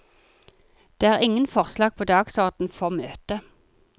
Det er ingen forslag på dagsorden for møtet.